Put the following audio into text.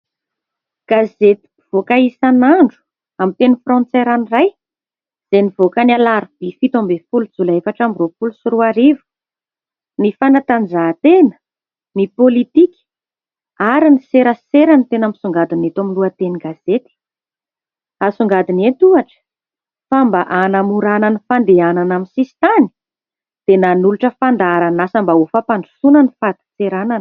Gazety mpivoaka isan'andro amin'ny teny frantsay ranoray, izay nivoaka ny Alarobia fito ambin'ny folo jolay efatra amby roapolo sy roa arivo. Ny fanatanjahan-tena, ny pôlitika ary ny serasera no tena misongadina eto amin'ny lohatenin-gazety. Asongadina eto ohatra fa mba hanamorana ny fandehanana amin'ny sisin-tany dia nanolotra fandaharan'asa mba ho fampandrosoana ny fadin-tseranana.